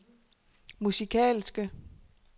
musikalske